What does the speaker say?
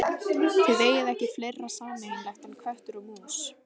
Þið eigið ekki fleira sameiginlegt en köttur og mús.